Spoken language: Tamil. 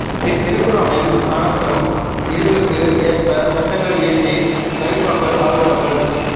திருக்குரானில் காணப்படும் விதிகளுக்கு ஏற்ப சட்டங்கள் இயற்றி கலீபாக்கள் ஆள்வார்கள்